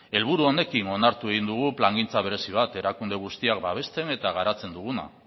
helburu honekin onartu egin dugu plangintza berezi bat erakunde guztiak babesten eta garatzen duguna